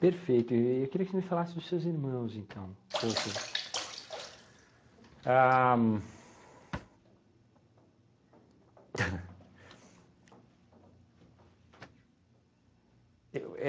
Perfeito, e e queria que me falasse dos seus irmãos então, pouco. Ah. Eu